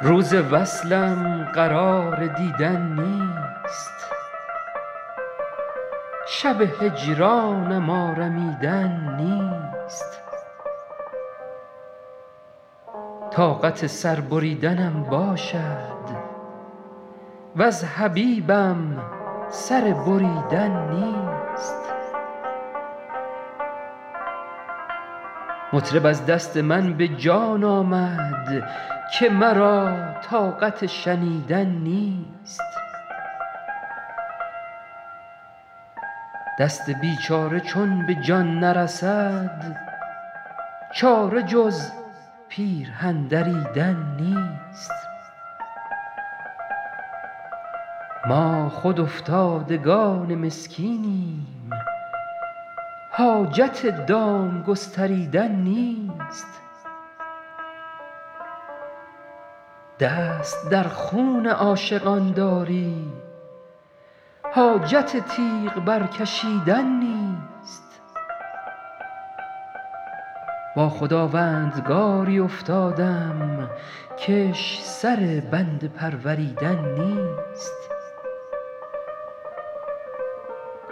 روز وصلم قرار دیدن نیست شب هجرانم آرمیدن نیست طاقت سر بریدنم باشد وز حبیبم سر بریدن نیست مطرب از دست من به جان آمد که مرا طاقت شنیدن نیست دست بیچاره چون به جان نرسد چاره جز پیرهن دریدن نیست ما خود افتادگان مسکینیم حاجت دام گستریدن نیست دست در خون عاشقان داری حاجت تیغ برکشیدن نیست با خداوندگاری افتادم کش سر بنده پروریدن نیست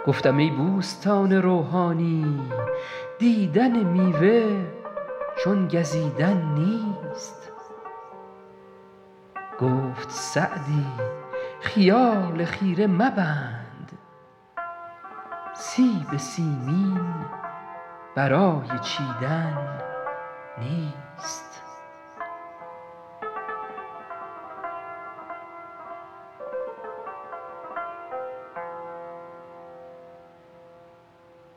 گفتم ای بوستان روحانی دیدن میوه چون گزیدن نیست گفت سعدی خیال خیره مبند سیب سیمین برای چیدن نیست